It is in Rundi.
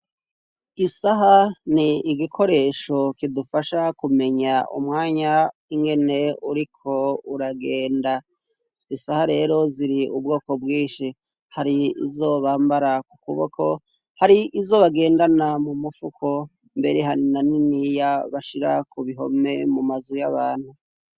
Isaha ni igikoresho kidufasha kumenya umwanya ingene uriko uragenda isaha rero ziri ubwoko bwinshi hari izobambara ku kuboko hari izobagendana mu mufuko mbere hani na niniya bashira ku bihome mu maa zwi yo abantu.